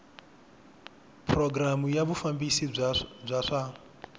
programu ya vufambisi bya swa